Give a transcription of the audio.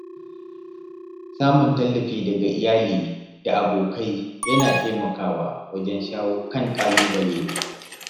Samun tallafi daga iyali da abokai yana taimakawa wajen shawo kan ƙalubale.